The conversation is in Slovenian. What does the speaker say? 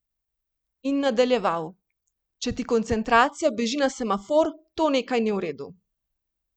In nadaljeval: "Če ti koncentracija beži na semafor, to nekaj ni v redu.